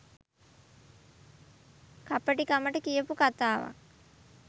කපටි කමකට කියපු කතාවක්